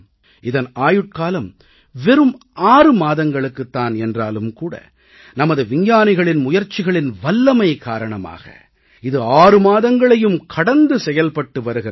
இதன் ஆயுட்காலம் வெறும் 6 மாதங்களுக்குத் தான் என்றாலும் கூட நமது விஞ்ஞானிகளின் முயற்சிகளின் வல்லமை காரணமாக இது 6 மாதங்களையும் கடந்து செயல்பட்டு வருகிறது